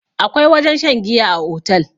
akwai wajen shan giya a otal